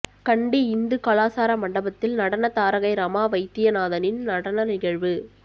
கண்டி இந்து கலாசார மண்டபத்தில் நடன தாரகை ரமா வைத்தியநாதனின் நடன நிகழ்வு